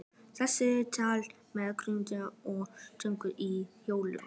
Þessu var tekið með húrrahrópum og fögnuði í Hljómskálanum.